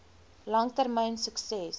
lang termyn sukses